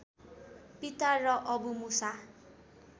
पिता र अबु मूसा